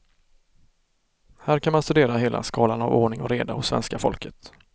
Här kan man studera hela skalan av ordning och reda hos svenska folket.